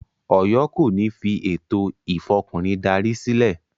Ọ̀yọ́ kò ní fi “ ètò Ìfọkùnrin darí” sílẹ̀.